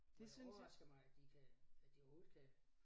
Og det overrasker mig at de kan at de overhovedet kan